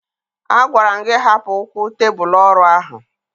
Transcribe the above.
Agwara m gị hapụ ụkwụ tebụlụ ọrụ ahụ!